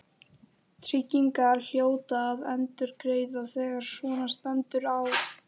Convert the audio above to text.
Tryggingarnar hljóta að endurgreiða þegar svona stendur á.